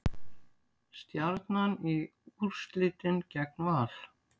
Stjarnan í úrslitin gegn Val